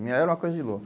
E era uma coisa de louco.